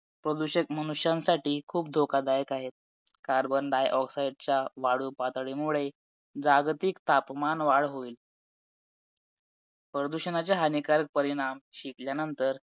आता बगु तीस तारीख ला आहे प्री तोपर्यंत सगळा अभ्यास झाला आहे आणि दहा तारखेपासून main मी माझे पेपर solve करायला घेणार आहे मी कारण पेपर solve करायला घेतल्यानंतर मला atleast समजेल की मी किती पाण्यामधे आहे